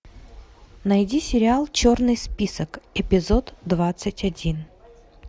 найди сериал черный список эпизод двадцать один